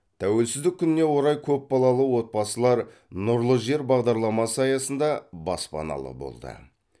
тәуелсіздік күніне орай көпбалалы отбасылар нұрлы жер бағдарламасы аясында баспаналы болды